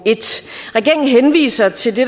regeringen henviser til det